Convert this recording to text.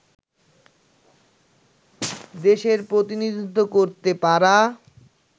দেশের প্রতিনিধিত্ব করতে পারা